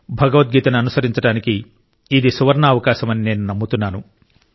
భగవద్గీతను అనుసరించడానికి ఇది సువర్ణావకాశమని నేను నమ్ముతున్నాను